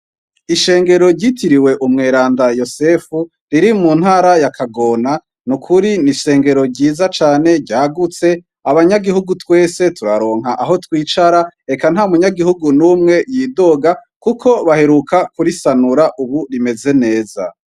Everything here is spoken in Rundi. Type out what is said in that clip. Ishengero ryitiriwe umweranda yosefu riri mu ntara yakagona ni ukuri ni'ishengero ryiza cane ryagutse abanyagihugu twese turaronka aho twicara eka nta munyagihugu n'umwe yidoga, kuko baheruka kurisanura, ubu rimeze neza.